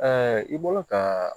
i bɔra ka